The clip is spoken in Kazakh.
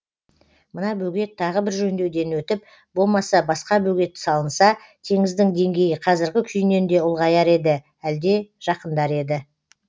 мына бөгет тағы бір жөндеуден өтіп бомаса басқа бөгет салынса теңіздің деңгейі қазіргі күйінен де ұлғаяр еді әлде жақындар еді